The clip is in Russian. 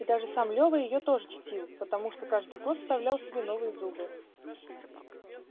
и даже сам лёва её тоже чтил потому что каждый год вставлял себе новые зубы